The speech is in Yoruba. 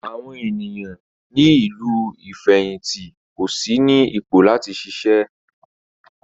Àwọn ènìyàn ní ìlú ìfẹ̀hìntì kò sí ní ipò láti ṣiṣẹ́.